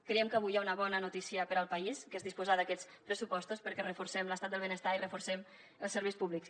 creiem que avui hi ha una bona notícia per al país que és disposar d’aquests pressupostos perquè reforcem l’estat del benestar i reforcem els serveis públics